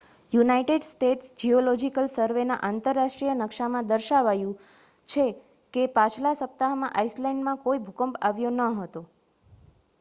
United States geological સર્વેના આંતરરાષ્ટ્રીય નકશામાં દર્શાવાયું છે કે પાછલા સપ્તાહમાં આઇસલૅન્ડમાં કોઈ ભૂકંપ આવ્યો ન હતો